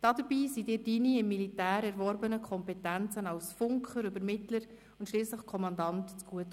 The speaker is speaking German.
Dabei kamen dir deine im Militär erworbenen Kompetenzen als Funker, Übermittler und schliesslich Kommandant zugute.